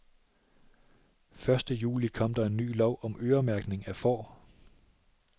Første juli kom der en ny lov om øremærkning af får.